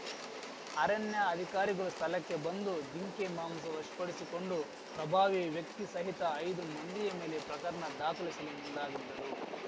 ಅರಣ್ಯ ಅಧಿಕಾರಿಗಳು ಸ್ಥಳಕ್ಕೆ ಬಂದು ಜಿಂಕೆ ಮಾಂಸ ವಶಪಡಿಸಿಕೊಂಡು ಪ್ರಭಾವಿ ವ್ಯಕ್ತಿ ಸಹಿತ ಐದು ಮಂದಿಯ ಮೇಲೆ ಪ್ರಕರಣ ದಾಖಲಿಸಲು ಮುಂದಾಗಿದ್ದರು